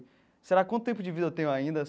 Será quanto tempo de vida eu tenho ainda?